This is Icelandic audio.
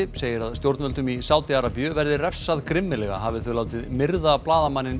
segir að stjórnvöldum í Sádi Arabíu verði refsað grimmilega hafi þau látið myrða blaðamanninn